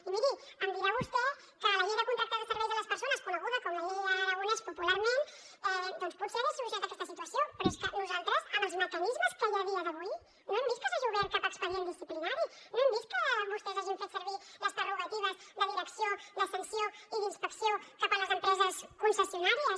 i miri em dirà vostè que la llei de contractes de serveis a les persones coneguda com la llei aragonès popularment potser hauria solucionat aquesta situació però és que nosaltres amb els mecanismes que hi ha a dia d’avui no hem vist que s’hagi obert cap expedient disciplinari no hem vist que vostès hagin fet servir les prerrogatives de direcció de sanció i d’inspecció cap a les empreses concessionàries